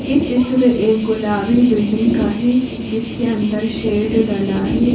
ये चित्र एक गुलाबी बिल्डिंग का है जिसके अंदर शेड डला है।